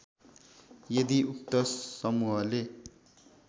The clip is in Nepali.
यदि उक्त समूहले